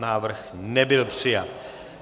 Návrh nebyl přijat.